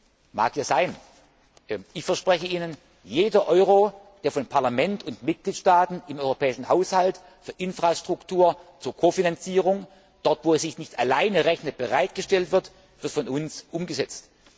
Das mag ja sein. Ich verspreche Ihnen Jeder Euro, der vom Parlament und den Mitgliedstaaten im europäischen Haushalt für Infrastruktur zur Ko Finanzierung dort, wo es sich nicht alleine rechnet bereitgestellt wird, wird von uns umgesetzt.